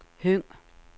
Høng